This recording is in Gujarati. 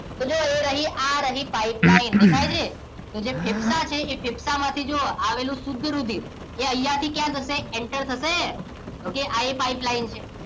તો જો આ રહી pipeline દેખાય છે તો જે ફેફસા છે એ ફેફસામાંથી જુઓ આવેલું શુદ્ધ રુધિર એ અહીંયા થી ક્યાં જશે enter થશે okay આ એ pipeline છે